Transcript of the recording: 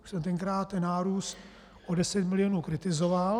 Já jsem tenkrát ten nárůst o 10 milionů kritizoval.